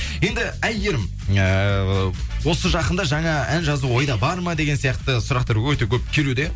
енді әйгерім ыыы осы жақында жаңа ән жазу ойда бар ма деген сияқты сұрақтар өте көп келуде